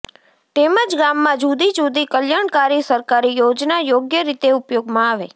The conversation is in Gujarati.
તેમજ ગામમાં જુદી જુદી કલ્યાણકારી સરકારી યોજના યોગ્ય રીતે ઉપયોગમાં આવે